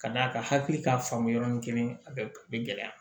Ka d'a kan hakili k'a faamu yɔrɔnin kelen a bɛ a bɛ gɛlɛya